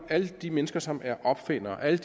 alle de mennesker som er opfindere alle